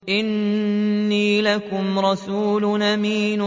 إِنِّي لَكُمْ رَسُولٌ أَمِينٌ